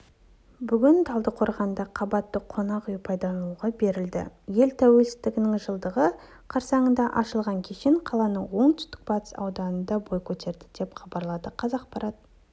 бүгін талдықорғанда қабатты қонақ үй пайдалануға берілді ел тәуелсіздігінің жылдығы қарсаңында ашылған кешен қаланың оңтүстік-батыс ауданында бой көтерді деп хабарлады қазақпарат